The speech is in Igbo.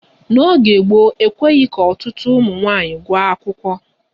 N'oge gboo, ekweghị ka ọtụtụ ụmụ nwaanyị gụọ akwụkwọ.